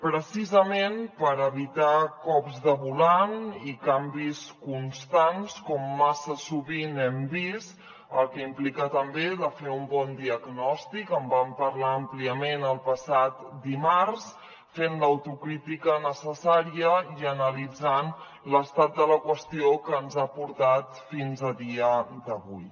precisament per evitar cops de volant i canvis constants com massa sovint hem vist cosa que implica també fer un bon diagnòstic en vam parlar àmpliament el passat dimarts fent l’autocrítica necessària i analitzant l’estat de la qüestió que ens ha portat fins a dia d’avui